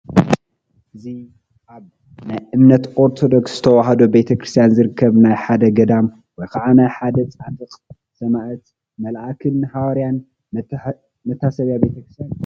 እዚ ኣብ ናይ እምነት ኦርቶዶክስ ተዋህዶ ቤተ ክርስትያን ዝርከብ ናይ ሓደ ገዳም ወይ ከዓ ናይ ሓደ ፃድቕ፣ ሰማዕት፣ መልኣክን ሃዋርያን መታሰብያ ቤተ ክርስትያን እዩ፡፡